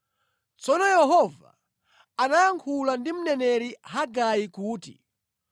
Tsono Yehova anayankhula ndi mneneri Hagai kuti,